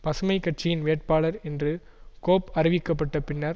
பசுமை கட்சியின் வேட்பாளர் என்று கோப் அறிவிக்கப்பட்ட பின்னர்